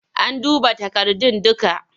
An duba takardun dukka?